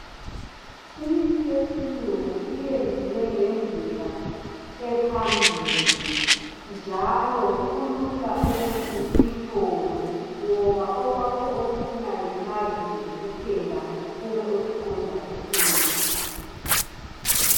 Imithi yesilungu iyenziwe ngendlela ephambili njalo kulula ukuthi uyithole ngoba okwakho okufunayo yimali nje kuphela ube usuqonda ekhemisi .